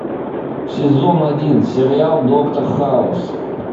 сезон один сериал доктор хаус